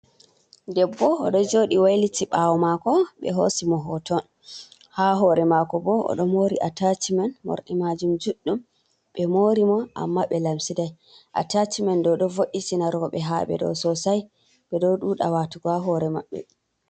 Ɗeɓɓo oɗo joɗi wailiti ɓawo mako ɓe hosi mo hoton ha hore mako, ɓo oɗo mori atachimen morɗi majum juɗɗum ɓe mori mo amma ɓe lamsidai ,atachimen ɗo ɗo vo’i tina roɓe ha"ɓe ɗo sosai ɓe ɗo ɗuɗa watugo ha hore maɓɓe .